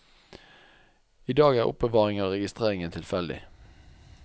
I dag er er oppbevaringen og registreringen tilfeldig.